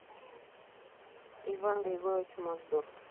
иван григорьевич мосдор